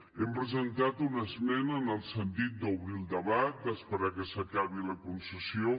hem presentat una esmena en el sentit d’obrir el debat d’esperar que s’acabi la concessió